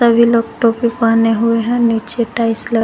वे लोग टोपी पहने हुए हैं नीचे टाइल्स ल--